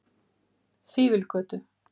Fífilgötu